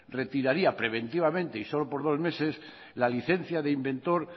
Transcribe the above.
retiraría preventivamente y solo por dos meses la licencia de inventor